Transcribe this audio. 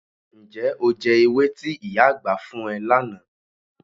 Ǹjẹ́ o jẹ ewé tí ìyá àgbà fún ẹ lánàá?